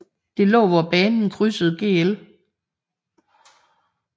Det lå hvor banen krydsede Gl